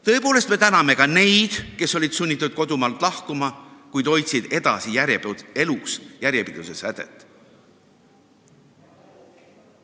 Tõepoolest, me täname ka neid, kes olid sunnitud kodumaalt lahkuma, kuid hoidsid edasi elus järjepidevuse sädet.